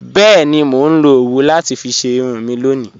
Bẹẹni, mó nlọ owú láti fí ṣẹ irun mi lọ́ni